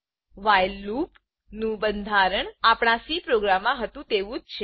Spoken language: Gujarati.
વ્હાઇલ લૂપ વાઇલ લુપનું બંધારણ આપણા સી પ્રોગ્રામમાં હતું તેવું જ છે